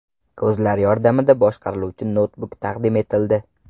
Ko‘zlar yordamida boshqariluvchi noutbuk taqdim etildi.